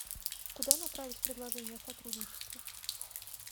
куда направить предложение о сотрудничестве